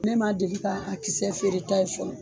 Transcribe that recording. Ne ma deli ka a kisɛ feere ta ye fɔlɔ